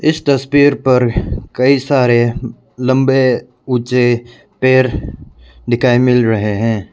इस तस्वीर पर कई सारे लंबे उचे पेड़ दिखाई मिल रहे हैं।